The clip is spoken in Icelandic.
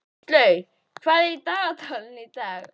Kristlaugur, hvað er í dagatalinu í dag?